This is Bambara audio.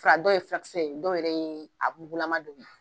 Fura dɔw yɛrɛ yee furakisɛ ye dɔw yɛrɛ ye a mugulama